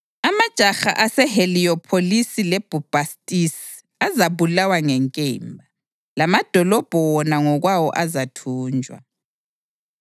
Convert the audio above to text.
Amajaha aseHeliyopholisi leBhubhastisi azabulawa ngenkemba, lamadolobho wona ngokwawo azathunjwa.